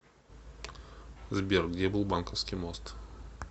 сбер где был банковский мост